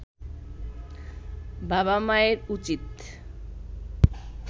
বাবা মায়ের উচিত